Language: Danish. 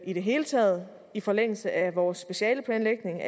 i det hele taget i forlængelse af vores specialeplanlægning